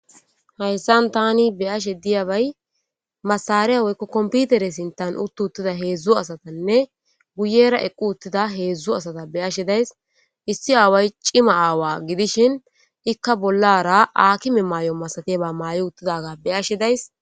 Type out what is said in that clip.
Hayssan tani be ashe diyabay masareya woykko komputere sintan uttu uttida heedzdzu asatanne guyera eqqu uttida heedzdzu asata be ashe days issi aaway cima aawa gidishin ikka bollara akime may7o masatiba maayo uttidaga beashe days.